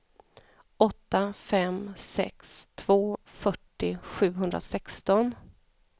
åtta fem sex två fyrtio sjuhundrasexton